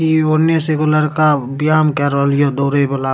इ औने से एगो लड़का व्यायाम कर रहल या दौड़े वला --